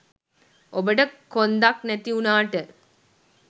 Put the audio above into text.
ඔබට කොන්දක් නැති උනාට